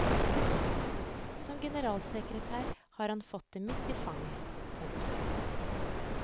Som generalsekretær har han fått det midt i fanget. punktum